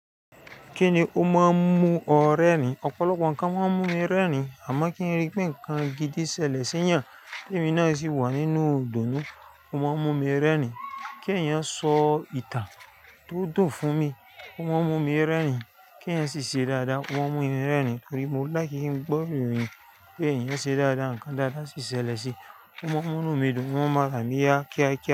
Kíni ó máa ń mú ọ rẹ́rìn-ín? Ọ̀pọ̀lọpọ̀ nǹkan máa ń mú mi rẹ́rìn-ín, àmọ́ kí n rí pé nǹkan gidi ṣẹlẹ̀ sí ìyà, pé mi náà sì wà nínú ìdùnnú, ó máa ń mú mi rẹ́rìn-ín. Kí èèyàn sọ ìtàn tó dùn fún mi, ó máa ń mú mi rẹ́rìn-ín. Kí èèyàn ṣe iṣẹ́ dáadáa, wọ́n mú mi rẹ́rìn-ín torí mo láki ki gbọ́ ìròyìn pé èèyàn ṣe dáadáa, ǹkan dáadáa sì ṣẹlẹ̀ sí i, ó máa ń mú mí dùn, ó máa mú aràn mí ya kíákíá.